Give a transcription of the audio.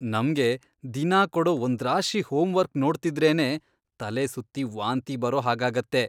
ನಮ್ಗೆ ದಿನಾ ಕೊಡೋ ಒಂದ್ರಾಶಿ ಹೋಮ್ವರ್ಕ್ ನೋಡ್ತಿದ್ರೇನೇ ತಲೆಸುತ್ತಿ ವಾಂತಿ ಬರೋ ಹಾಗಾಗತ್ತೆ.